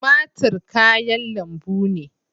Tumatir kayan lambu ne.